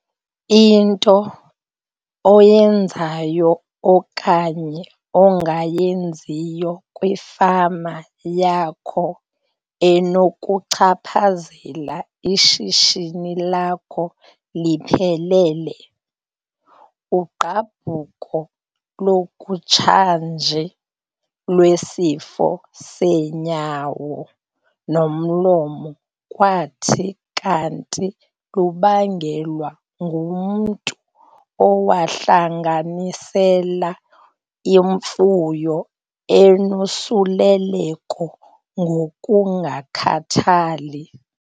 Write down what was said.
Into oyenzayo okanye ongayenziyo kwifama yakho inokuchaphazela ishishini lakho liphelele. Ugqabhuko lwakutshanje lwesifo seenyawo-nomlomo kwathi kanti lubangelwe ngumntu owahlanganisela imfuyo enosusleleko ngokungakhathali.